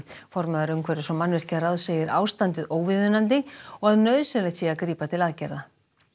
formaður umhverfis og segir ástandið óviðunandi og að nauðsynlegt sé að grípa til aðgerða